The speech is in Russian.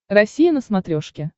россия на смотрешке